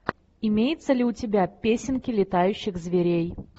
имеется ли у тебя песенки летающих зверей